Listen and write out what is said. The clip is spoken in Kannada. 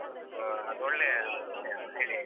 ಹಾ. ಅದೊಳ್ಳೆಯ ವಿಷಯ. ಹೇಳಿ, ಹೇಳಿ.